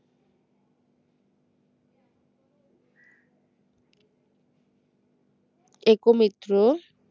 একো মিত্র